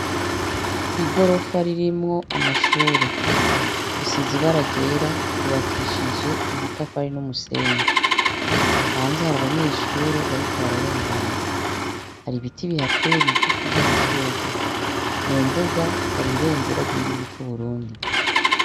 Igorofa ririmwo amashure risize ibara ryera ryubakishije amatafari numusenyi hanze hari abanyeshure bariko bararengana hari ibiti bihateye bigufi vyamashurwe mumbuga hari ibendera ryigihugu cuburundi